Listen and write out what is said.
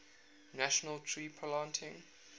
national tree planting